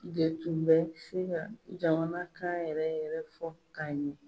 De tun bɛ se ka jamanakan yɛrɛ yɛrɛ fɔ ka ɲɛn.